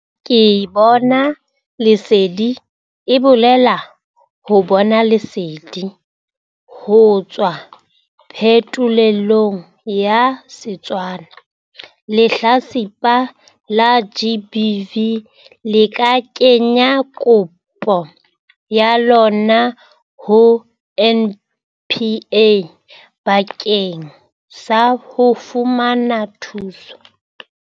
Ke Bona Lesedi e bolela 'ho bona lesedi' ho tswa phetholelong ya Setswana. Lehlatsipa la GBV le ka kenya kopo ya lona ho NPA bakeng sa ho fumana thuso.